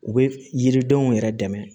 U bɛ yiridenw yɛrɛ dɛmɛ